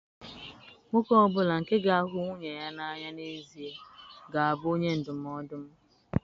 Nwoke ọ bụla nke ga-ahụ nwunye ya n'anya n'ezie ga-abụ onye ndụmọdụ m.